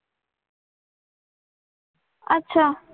अच्छा.